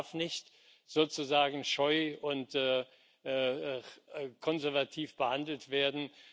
Das darf nicht sozusagen scheu und konservativ behandelt werden.